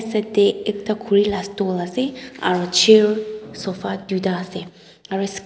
Yate ekta khuri la stool ase aro chair sofa doita ase aro sss--